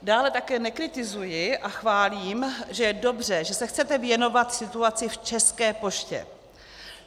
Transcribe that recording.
Dále také nekritizuji a chválím, že je dobře, že se chcete věnovat situaci v České poště.